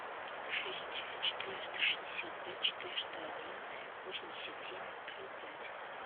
шесть четыреста шестьдесят пять четыреста один восемьдесят семь три пять